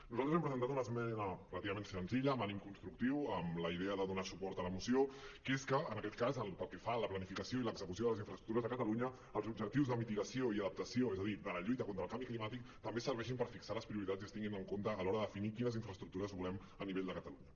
nosaltres hem presentat una esmena pràcticament senzilla amb ànim constructiu amb la idea de donar suport a la moció que és que en aquest cas pel que fa a la planificació i l’execució de les infraestructures de catalunya els objectius de mitigació i adaptació és a dir de la lluita contra el canvi climàtic també serveixin per fixar les prioritats i es tinguin en compte a l’hora de definir quines infraestructures volem a nivell de catalunya